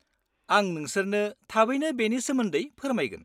-आं नोंसोरनो थाबैनो बेनि सोमोन्दै फोरमायगोन।